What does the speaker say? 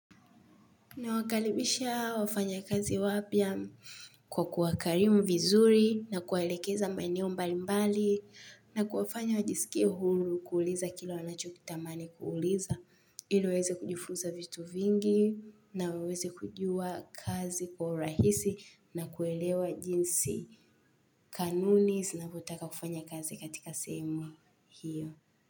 Na wakalibisha wafanyakazi wapia kwa kuwakarimu vizuri na kuwaelekeza maeneo mbali mbali na kuwafanya wajisikie huru kuuliza kila wanachokitamani kuuliza ili waeze kujifunza vitu vingi na waweze kujua kazi kwa urahisi na kuelewa jinsi kanuni sinavotaka kufanya kazi katika sehemu hiyo.